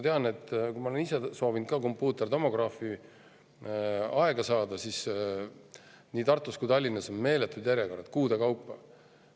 Ma olen ise ka soovinud kompuutertomograafi aega saada ja tean, et nii Tartus kui ka Tallinnas on meeletud järjekorrad, kuudepikkused.